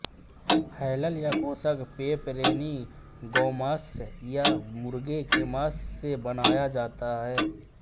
हैलल या kosher pepperoni गौमांस या मुर्गे के मांस से बनाया सकता है